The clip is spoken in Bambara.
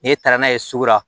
N'e taara n'a ye sugu la